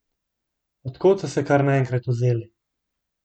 Od kod so se kar naenkrat vzeli?